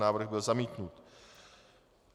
Návrh byl zamítnut.